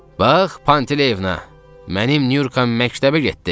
Bax, Pantileyevna, mənim Nurkam məktəbə getdi.